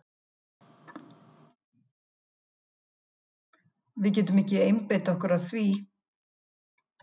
Við getum ekki einbeitt okkur að því.